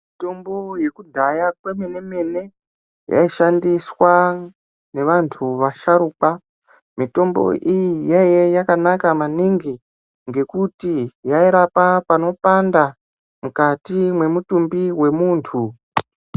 Mitombo yekudhaya kwemene mene yaishandiswa nevantu vasharukwa. Mitombo iyi yaiya yakanaka maningi ngekuti yairapa panopanda mukati mwemutumbi wemuntu.